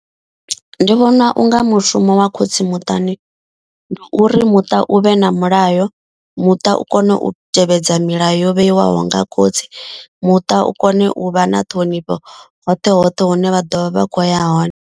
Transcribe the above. Ndi vhona unga mushumo wa khotsi muṱani ndi uri muṱa u vhe na mulayo. Muṱa u kone u tevhedza milayo yo vheiwaho nga khotsi. Muṱa u kone u vha na ṱhonifho hoṱhe hoṱhe hune vha ḓovha vha kho ya hone.